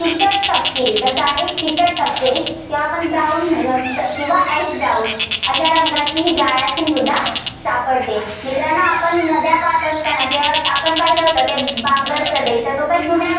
फिकट तपकिरी. कसा आहे, फिकट तपकिरी. किंवा आपण brown किंवा ash brown रंगाची गाळाची मृदा सापडते. मित्रांनो आपण नद्या पाहात असताना किंवा आपण पाहिलं पाहिलं होत बांगर प्रदेश